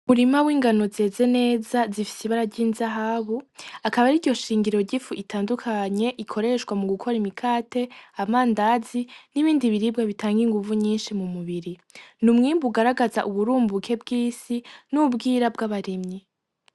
Umurima w’ingano zeze neza zifise ibara ry’inzahabu akaba ariryo shingiro ry’ifu itandukanye ikoreshwa mugukora imikate, amandazi n’ibindi biribwa bitanga inguvu nyinshi mu mubiri . N’umwimbu ugaragaza uburumbuke bw'isi n’ubwira bw’abarimyi.